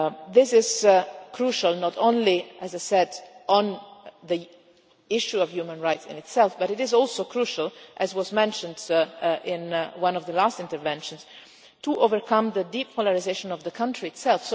This is crucial, not only on the issue of human rights in itself, but it is also crucial as was mentioned in one of the last interventions to overcome the deep polarisation of the country itself.